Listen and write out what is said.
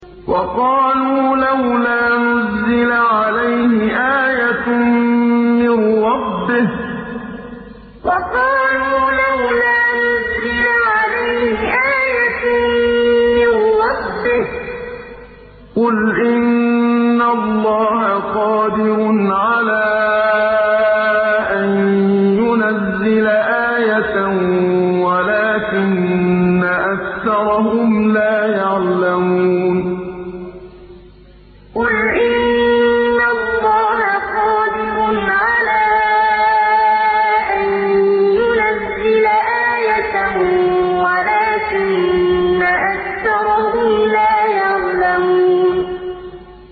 وَقَالُوا لَوْلَا نُزِّلَ عَلَيْهِ آيَةٌ مِّن رَّبِّهِ ۚ قُلْ إِنَّ اللَّهَ قَادِرٌ عَلَىٰ أَن يُنَزِّلَ آيَةً وَلَٰكِنَّ أَكْثَرَهُمْ لَا يَعْلَمُونَ وَقَالُوا لَوْلَا نُزِّلَ عَلَيْهِ آيَةٌ مِّن رَّبِّهِ ۚ قُلْ إِنَّ اللَّهَ قَادِرٌ عَلَىٰ أَن يُنَزِّلَ آيَةً وَلَٰكِنَّ أَكْثَرَهُمْ لَا يَعْلَمُونَ